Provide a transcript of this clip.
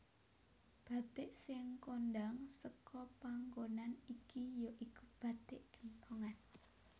Bathik sing kondhang seka panggonan iki ya iku bathik genthongan